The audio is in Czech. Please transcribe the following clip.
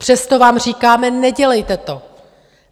Přesto vám říkáme: Nedělejte to.